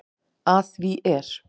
Að því er